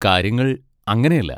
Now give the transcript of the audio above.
കാര്യങ്ങൾ അങ്ങനെയല്ല.